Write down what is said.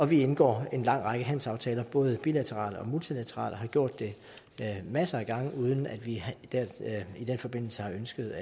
vi indgår en lang række handelsaftaler både bilaterale og multilaterale og har gjort det masser af gange uden at vi i den forbindelse har ønsket